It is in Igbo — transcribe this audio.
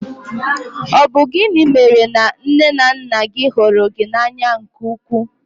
Ọ bụ gịnị mèrè na nné na nnà gị hụrụ gị n'anya nke ukwuu?